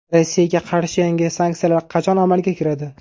Rossiyaga qarshi yangi sanksiyalar qachon amalga kiradi?